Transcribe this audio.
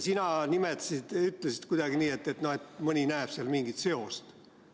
Sina ütlesid kuidagi nii, et mõni näeb seal mingit seost.